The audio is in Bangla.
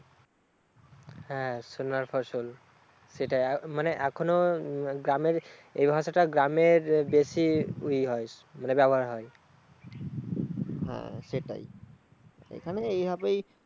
হ্যা সোনার ফসল। সেটা মানে এখনো গ্রামের এই ভাষাটা গ্রামে বেশি ই হয়, মানে ব্যবহার হয়। হ্যা সেটাই